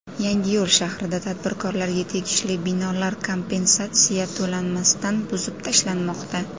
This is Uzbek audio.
Yangiyo‘l shahrida tadbirkorlarga tegishli binolar kompensatsiya to‘lanmasdan buzib tashlanmoqda.